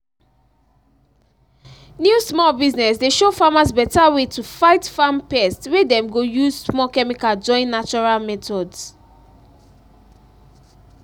new small business dey show farmers beta way to fight farm pest wey dem go use small chemical join natural methods